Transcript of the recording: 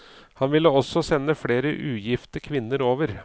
Han ville også sende flere ugifte kvinner over.